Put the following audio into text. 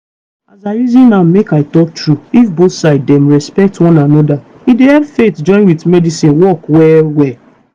as i reason am make i talk true if both side dem respect one anoda e dey help faith join with medicine work well well.